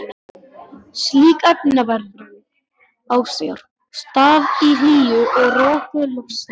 Slík efnaveðrun á sér stað í hlýju og röku loftslagi.